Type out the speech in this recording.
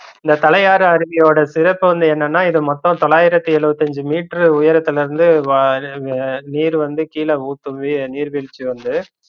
இந்த தலையாரு அறிவியோட சிறப்பு வந்து என்னனா இது மொத்தம் தொலாயிரத்து எழுவத்தி அஞ்சு மீட்டர் உயரத்துல இருந்து நீர் வந்து கீழ ஊத்துது நீர் வீழ்ச்சி வந்து